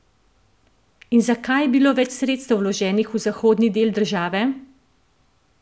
In zakaj je bilo več sredstev vloženih v zahodni del države?